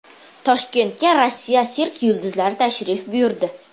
Toshkentga Rossiya sirk yulduzlari tashrif buyurdi.